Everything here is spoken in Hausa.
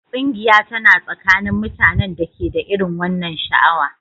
Ƙungiya tana tsakanin mutanen da ke da irin wannan sha'awa